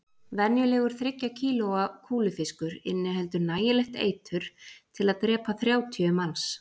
Venjulegur þriggja kílóa kúlufiskur inniheldur nægilegt eitur til að drepa þrjátíu manns